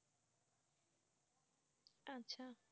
আচ্ছা